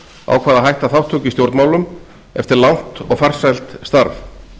ákvað að hætta þátttöku í stjórnmálum eftir langt og farsælt starf